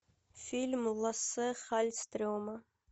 фильм лассе халльстрема